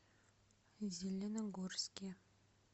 зеленогорске